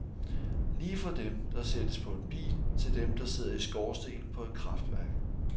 Lige fra dem, der sættes på en bil, til dem, der sidder i skorstenen på et kraftværk.